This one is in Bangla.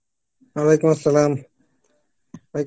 Arbi ভাই